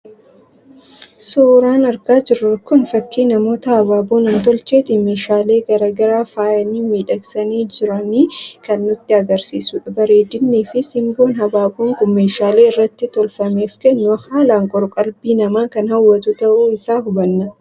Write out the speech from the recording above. Suuraan argaa jirru kun fakii namoota habaaboo nam-tolcheetiin meeshaalee garaa garaa faayanii, miidhagsaa jiranii kan nutti agarsiisudha. Bareedinnii fi simboon habaaboon Kun meeshaalee irratti tolfameef kennu haalaan qoor-qalbii namaa kan hawwatu ta'uu isaa hubanna.